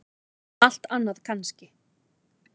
Allt annað kannski.